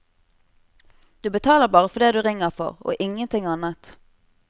Du betaler bare for det du ringer for, og ingenting annet.